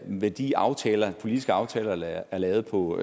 værdiaftaler politiske aftaler der er lavet på